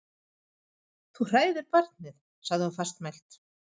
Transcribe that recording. Þú hræðir barnið, sagði hún fastmælt.